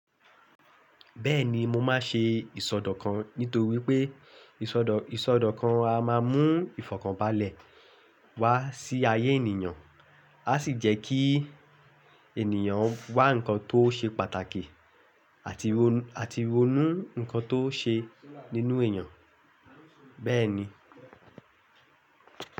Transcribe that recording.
Bẹ́ẹ̀ni mo máa ṣe ìsọdọ̀kan nítorí pé ìsọdọ̀kan a máa mú ìfọ̀kànbalẹ̀ wá sí ayé ènìyàn, á sì jẹ́ kí ènìyàn wá ǹkan tó ṣe pàtàkì, ati àti ronú ǹkan tó ṣe nínú èèyàn, bẹ́ẹ̀ ni.